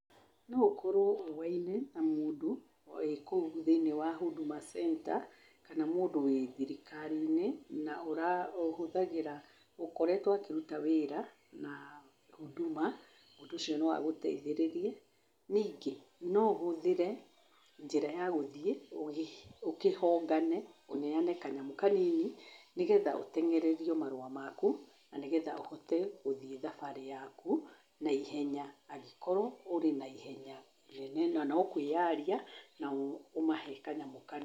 No ũkorwo ũwaine na mũndũ wĩ kũu thĩinĩ wa Huduma Centre kana mũndũ wĩ thirikari-inĩ na ũhũthagĩra, ũkoretwo akĩruta wĩra na Huduma, mũndũ ũcio no agũteithĩrĩrie. Ningĩ, no ũhũthĩre njĩra ya gũthiĩ ũkĩhongane, ũneane kanyamũ kanini nĩ getha ũteng'ererio marũa maku na nĩ getha ũhote gũthiĩ thabarĩ yaku na ihenya angĩkorwo ũrĩ na ihenya rĩnene na no kwĩaria ũheane kanyamũ kanini.